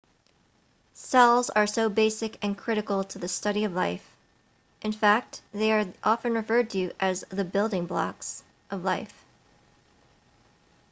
cells are so basic and critical to the study of life in fact that they are often referred to as the building blocks of life